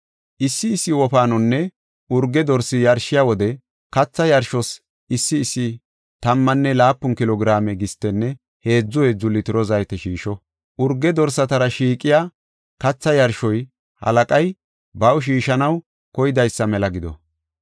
Issi issi wofaanonne urge dorsi yarshiya wode katha yarshos issi issi tammanne laapun kilo giraame gistenne heedzu heedzu litiro zayte shiisho. Urge dorsatara shiiqiya katha yarshoy halaqay baw shiishanaw koydaysa mela gido.